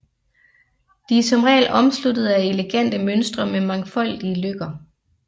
De er som regel omsluttede af elegante mønstre med mangfoldige løkker